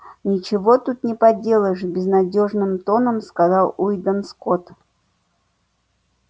ничего тут не поделаешь безнадёжным тоном сказал уидон скотт